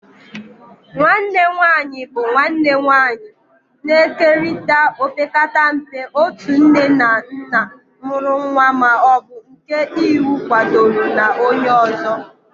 Nwanne nwanyị bụ nwanne nwanyị, na-ekerịta opekata mpe otu nne na nna mụrụ nwa ma ọ bụ nke iwu kwadoro na onye ọzọ.